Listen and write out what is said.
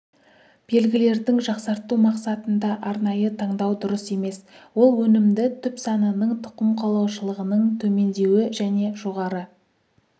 белгілердің жақсарту мақсатында арнайы таңдау дұрыс емес ол өнімді түп санының тұқым қуалаушылығының төмендеуі және жоғары